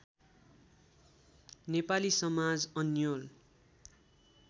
नेपाली समाज अन्योल